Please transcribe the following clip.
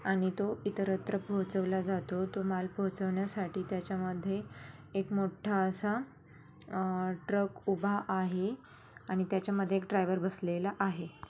आणि तो इतरत्र पोहोचवला जातो. तो माल पोहोचवण्यासाठी त्याच्यामधे एक मोठा असा अ ट्रक उभा आहे आणि त्याच्यामधे एक डाइवर बसलेला आहे.